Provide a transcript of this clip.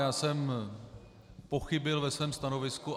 Já jsem pochybil ve svém stanovisku.